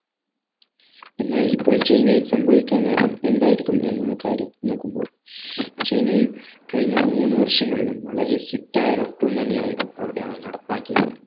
എന്നാൽ ഇപ്പോൾ ചൈനയിൽ സംഭവിക്കാൻ കാരണം എന്തായിരിക്കും എന്ന കാര്യം നോക്കുമ്പോൾ ചൈനയിൽ കഴിഞ്ഞ മൂന്ന് വർഷങ്ങളിലും വളരെ strict ആയ lockdown തന്നെ ആയിരുന്നു അവിടെ അഹ് നടപ്പാക്കിയത്